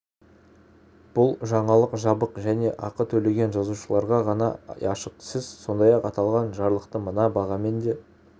бұл жаңалық жабық және ақы төлеген жазылушыларға ғана ашық сіз сондай-ақ аталған жаңалықты мына бағамен де